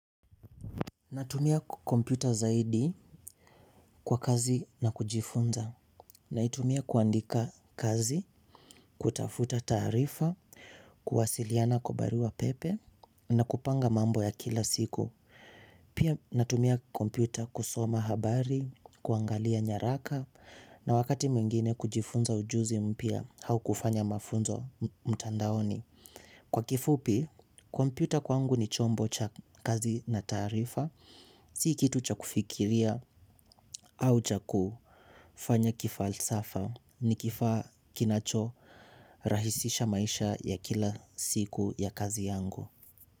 Natumia kompyuta zaidi kwa kazi na kujifunza. Naitumia kuandika kazi, kutafuta taarifa, kuwasiliana kwa baruapepe na kupanga mambo ya kila siku. Pia natumia kompyuta kusoma habari, kuangalia nyaraka na wakati mwingine kujifunza ujuzi mpya au kufanya mafunzo mtandaoni. Kwa kifupi, kompyuta kwangu ni chombo cha kazi na taarifa, si kitu cha kufikiria au cha kufanya kifalsafa ni kifaa kinachorahisisha maisha ya kila siku ya kazi yangu.